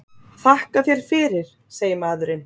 Þakka þér fyrir, segir maðurinn.